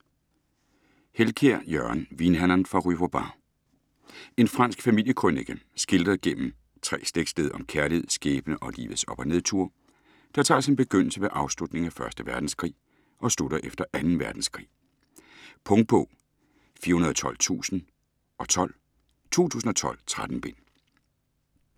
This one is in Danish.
Helkiær, Jørgen: Vinhandleren fra rue Vauban En fransk familiekrønike skildret igennem 3 slægtsled om kærlighed, skæbne og livets op- og nedture, der tager sin begyndelse ved afslutningen af 1. verdenskrig og slutter efter 2. verdenskrig. Punktbog 412012 2012. 13 bind.